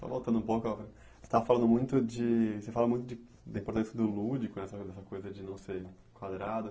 Só voltando um pouco, você estava falando muito de você fala muito da importância do lúdico, essa coisa de não ser quadrada.